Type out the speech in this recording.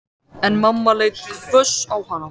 En mamma leit hvöss á hana.